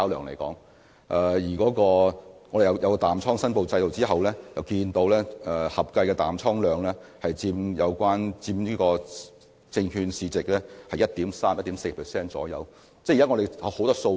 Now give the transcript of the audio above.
在設立淡倉申報制度後，我們得知合計淡倉量約佔有關證券市值 1.3% 至 1.4%。